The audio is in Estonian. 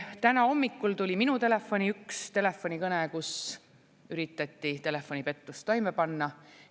Täna hommikul tuli minu telefoni üks telefonikõne, kus üritati telefonipettust toime panna.